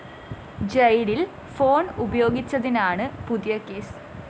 ജയിലില്‍ ഫോൺ ഉപയോഗിച്ചതിനാണ് പുതിയ കേസ്